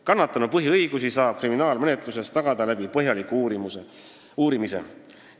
Kannatanu põhiõigusi saab kriminaalmenetluses tagada põhjaliku uurimisega.